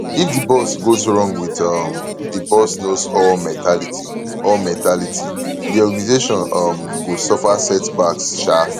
if di boss goes wrong with um the boss knows all mentality all mentality di organisation um go suffer setbacks um